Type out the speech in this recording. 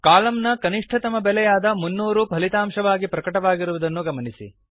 column ನ ಕನಿಷ್ಠತಮ ಬೆಲೆಯಾದ 300 ಫಲಿತಾಂಶವಾಗಿ ಪ್ರಕಟವಾಗಿರುವುದನ್ನು ಗಮನಿಸಿ